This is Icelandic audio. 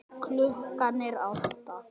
Við vöknum klukkan átta.